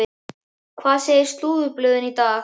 Hvað segja slúðurblöðin í dag?